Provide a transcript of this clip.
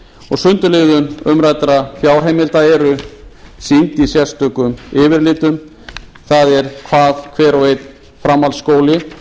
og sundurliðun umræddra fjárheimilda er sýnd í sérstökum yfirlitum það er hvað hver og einn framhaldsskóli